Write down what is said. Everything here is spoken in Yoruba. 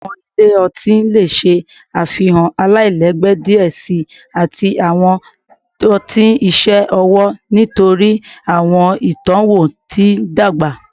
Awọn ile ọti le ṣe afihan alailẹgbẹ diẹ sii ati awọn ọti iṣẹ ọwọ nitori awọn itọwo ti n dagba